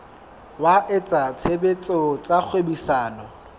wa etsa tshebetso tsa kgwebisano